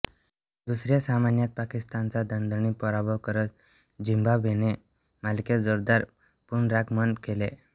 दुसऱ्या सामन्यात पाकिस्तानचा दणदणीत पराभव करत झिम्बाब्वेने मालिकेत जोरदार पुनरागमन केले